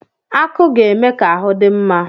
Akụ ga-eme ka ahu dị mma.